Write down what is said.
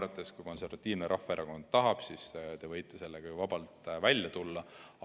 Kui Eesti Konservatiivne Rahvaerakond tahab, siis te võite sellega ju vabalt välja tulla.